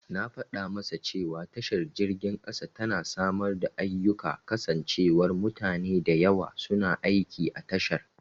Na fada masa cewa tashar jirgin kasa tana samar da ayyika kasancewar mutane da yawa suna aiki a tashar.